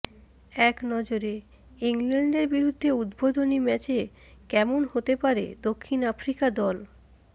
একনজরে ইংল্যান্ডের বিরুদ্ধে উদ্বোধনী ম্যাচে কেমন হতে পারে দক্ষিণ আফ্রিকা দল